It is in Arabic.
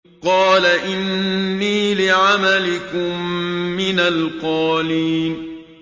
قَالَ إِنِّي لِعَمَلِكُم مِّنَ الْقَالِينَ